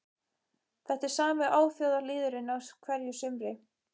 Þetta er sami óþjóðalýðurinn á hverju sumri